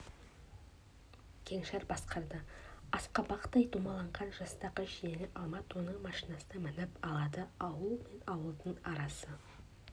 кеңшар басқарды асқабақтай домаланған жастағы жиені алмат оның машинасына мініп алады ауыл мен ауылдың арасы